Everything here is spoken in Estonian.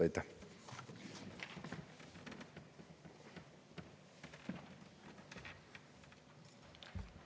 Aitäh!